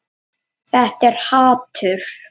Þetta er hatur.